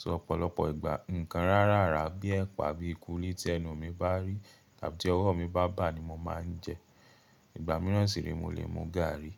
So ọ̀pọ̀lọpọ̀ ìgbà, ǹkan rárára bíi ẹ̀pà bíi kúlí tí ẹnu mi bá rí tàbí ti ọwọ́ mi bá bà ni mo máa ń jẹ. Ìgbà míràn sì re, mo lè mú gààrí.